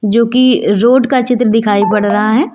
जोकि रोड का चित्र दिखाई पड़ रहा है।